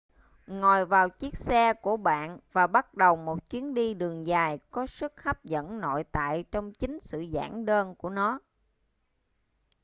ngồi vào chiếc xe của bạn và bắt đầu một chuyến đi đường dài có sức hấp dẫn nội tại trong chính sự giản đơn của nó